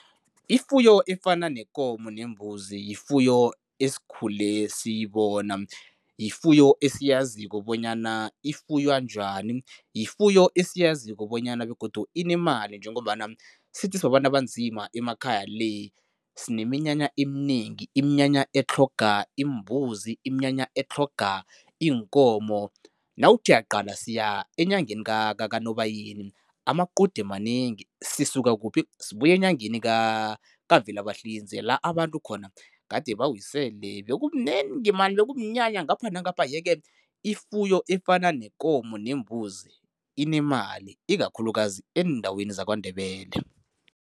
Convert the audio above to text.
Ifuyo efana nekomo nembuzi yifuyo esikhule siyibona, yifuyo esiyaziko bonyana ifuywa njani, yifuyo esiyaziko bonyana begodu inemali njengombana sithi sibabantu abanzima emakhaya le, sineminyanya eminengi, iminyanya etlhoga imbuzi, iminyanya etlhoga iinkomo. Nawuthi uyaqala siya enyangeni kaNobayeni amaqude manengi. Sisuka kuphi? Sibuya enyangeni kaVelabahlinze la abantu khona gade bawisele, bekubunengi man, bekumnyanya ngapha nangapha yeke ifuyo efana nekomo nembuzi inemali, ikakhulukazi eendaweni zaKwaNdebele.